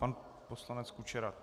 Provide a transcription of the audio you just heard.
Pan poslanec Kučera?